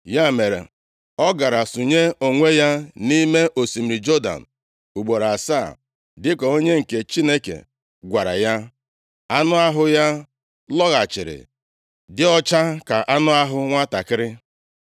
Ya mere, ọ gara sụnye onwe ya nʼime osimiri Jọdan ugboro asaa, dịka onye nke Chineke gwara ya. Anụ ahụ ya lọghachiri dị ọcha ka anụ ahụ nwantakịrị.